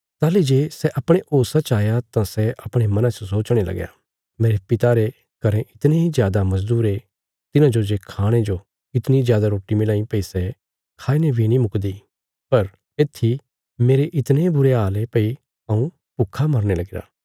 ताहली जे सै अपणे होशा च आया तां सै अपणे मना च सोचणे लगया मेरे पिता रे घरें इतणे जादा मजदूर ये तिन्हांजो जे खाणे जो इतणी जादा रोटी मिलांई भई सै खाईने बी नीं मुकदी पर इथी मेरे इतणे बुरे हाल ये भई हऊँ भुक्खा मरने लगीरा